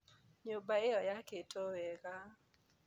Nyũmba ĩyo yakĩtwo wega.